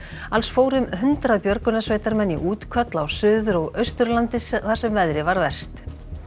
alls fóru um hundrað björgunarsveitarmenn í útköll á Suður og Austurlandi þar sem veðrið var verst